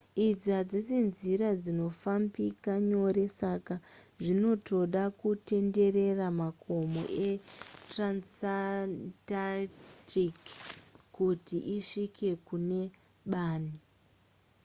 idzi hadzisi nzira dzinofambika nyore saka zvinotoda kutenderera makomo etransantarctic kuti isvike kune bani